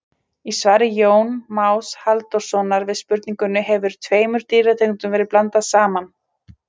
Í svari Jóns Más Halldórssonar við spurningunni Hefur tveimur dýrategundum verið blandað saman?